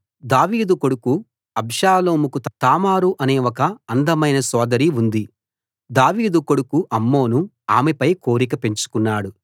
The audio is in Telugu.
దావీదు కొడుకు అబ్షాలోముకు తామారు అనే ఒక అందమైన సోదరి ఉంది దావీదు కొడుకు అమ్నోను ఆమెపై కోరిక పెంచుకున్నాడు